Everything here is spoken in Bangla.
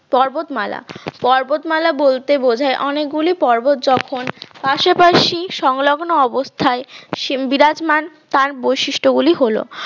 পর্বতমালা পর্বতমালা বলতে বোঝায় অনেকগুলি পর্বত যখন পাশাপাশি সংলগ্ন অবস্থায় বিরাজমান তার বৈশিষ্ট্য গুলি হল